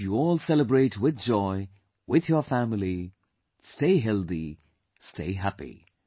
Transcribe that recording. I wish you all celebrate with joy, with your family; stay healthy, stay happy